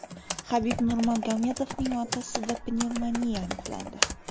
Habib Nurmagomedovning otasida pnevmoniya aniqlandi.